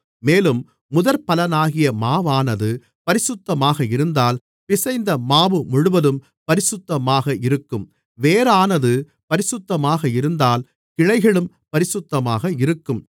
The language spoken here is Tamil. மேலும் முதற்பலனாகிய மாவானது பரிசுத்தமாக இருந்தால் பிசைந்த மாவு முழுவதும் பரிசுத்தமாக இருக்கும் வேரானது பரிசுத்தமாக இருந்தால் கிளைகளும் பரிசுத்தமாக இருக்கும்